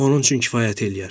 Onun üçün kifayət eləyər.